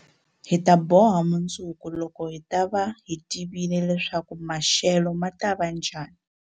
Hi ta boha mundzuku, loko hi ta va hi tivile leswaku maxelo ma ta va njhani.